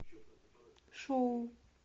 шоу